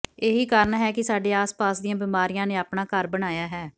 ਇਹੀ ਕਾਰਨ ਹੈ ਕਿ ਸਾਡੇ ਆਸ ਪਾਸ ਦੀਆਂ ਬਿਮਾਰੀਆਂ ਨੇ ਆਪਣਾ ਘਰ ਬਣਾਇਆ ਹੈ